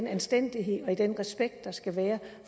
anstændighed og respekt der skal være